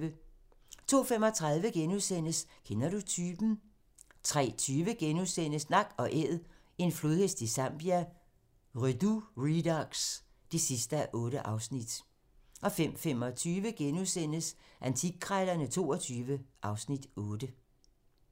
02:35: Kender du typen? * 03:20: Nak & Æd - en flodhest i Zambia - Redux (8:8)* 05:25: Antikkrejlerne XXII (Afs. 8)*